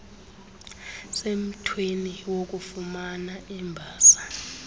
semthweni wokufumana imbasa